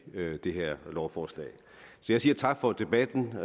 det her lovforslag så jeg siger tak for debatten